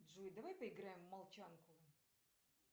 джой давай поиграем в молчанку